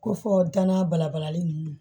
Ko fɔ danaya bala balalen ninnu